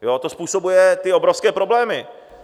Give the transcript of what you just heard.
To způsobuje ty obrovské problémy.